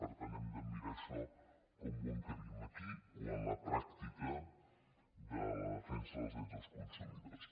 per tant hem de mirar això com ho encabim aquí o en la pràctica de la defensa dels drets dels consumidors